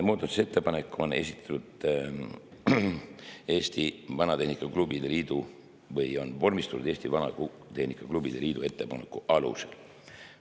Muudatusettepanek on vormistatud Eesti Vanatehnika Klubide Liidu ettepaneku alusel.